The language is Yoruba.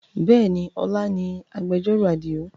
Bẹ́ẹ̀ni, ọ̀la ni ìgbẹ̀jọ́rò Àdìó